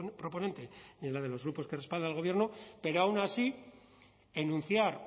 proponente ni en la de los grupos que respaldan al gobierno pero aun así enunciar